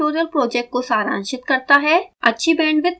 यह spoken tutorial project को सारांशित करता है